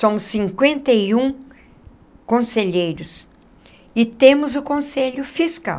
Somos cinquenta e um conselheiros e temos o conselho fiscal.